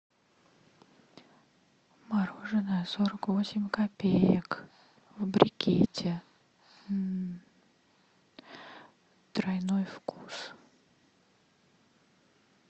мороженое сорок восемь копеек в брикете тройной вкус